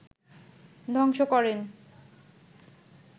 ধ্বংস করেন